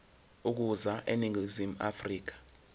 ukuza eningizimu afrika